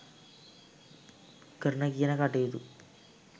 කරන කියන කටයුතු